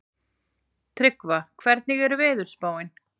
Tryggva, hvernig er veðurspáin?